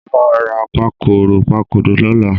Mo máa ra pakòròpakòrò lọ́la.